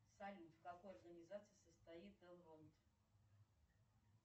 салют в какой организации состоит элронд